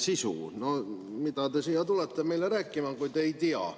Kuidas te tulete meile siia rääkima, kui te seda ei tea?